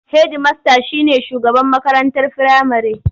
Hedimasta shi ne shugaban makarantar firamare.